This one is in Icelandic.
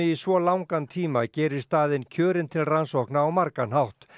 svo langan tíma gerir staðinn kjörinn til rannsókna á margan hátt